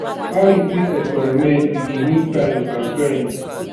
how you fit experiment with di new styles and trends?